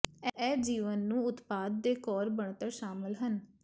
ਇਹ ਜੀਵਨ ਨੂੰ ਉਤਪਾਦ ਦੇ ਕੋਰ ਬਣਤਰ ਸ਼ਾਮਿਲ ਹਨ